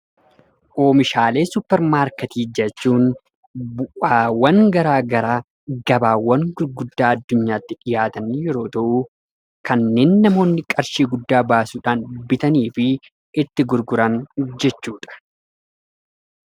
Oomishaalee Supparmaarketii jechuun bu'awwan garaagaraa, gabaawwan gurguddaa addunyaatti dhiyaatanii yeroo ta'u kanneen namoonni qarshii guddaa baasuudhaan bitanii fi itti gurguran jechuudha.